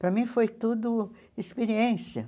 Para mim foi tudo experiência.